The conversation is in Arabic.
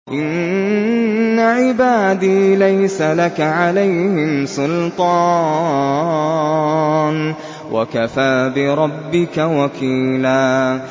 إِنَّ عِبَادِي لَيْسَ لَكَ عَلَيْهِمْ سُلْطَانٌ ۚ وَكَفَىٰ بِرَبِّكَ وَكِيلًا